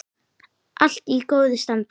Allt í góðu standi.